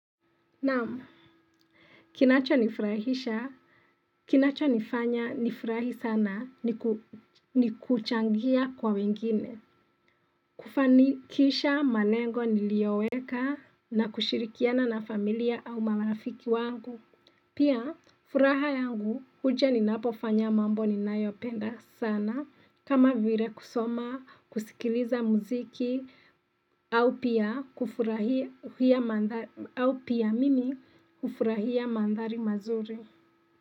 Namu Kinacho nifurahisha Kinacho nifanya nifurahi sana ni kuchangia kwa wengine kufanikisha manengo nilioweka na kushirikiana na familia au marafiki wangu Pia furaha yangu huja ninapo fanya mambo ni nayopenda sana kama vire kusoma, kusikiliza muziki, au pia kufurahia mandhari mazuri.